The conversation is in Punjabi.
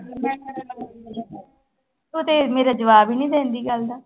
ਤੂੰ ਤੇ ਮੇਰਾ ਜਵਾਬ ਹੀ ਨੀ ਦਿੰਦੀ ਗੱਲ ਦਾ।